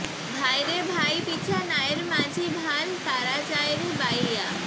ভাইরে ভাই পিছা নায়ের মাঝি ভাল তারা যায় রে বাইয়া